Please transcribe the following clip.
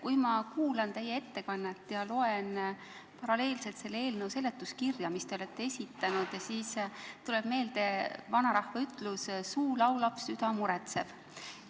Kui ma kuulan teie ettekannet ja loen paralleelselt selle eelnõu seletuskirja, mis te olete esitanud, siis tuleb meelde vanarahva ütlus, et suu laulab, süda muretseb.